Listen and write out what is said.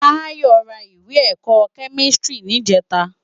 Tayo rá iwé èkò kèmistiri nijètâ